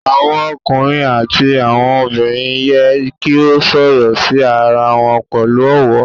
Awọn ọkunrin ati awọn obinrin yẹ ki o sọrọ si ara wọn pẹlu ọwọ